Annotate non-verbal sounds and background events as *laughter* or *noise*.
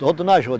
Todo na *unintelligible*